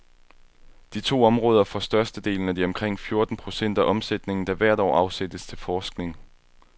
De to områder får størstedelen af de omkring fjorten procent af omsætningen, der hvert år afsættes til forskning.